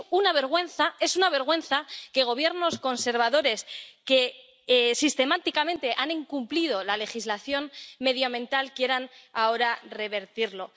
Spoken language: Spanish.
Y es una vergüenza —es una vergüenza— que Gobiernos conservadores, que sistemáticamente han incumplido la legislación medioambiental, quieran ahora revertirlo.